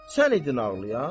Sən idin ağlayan?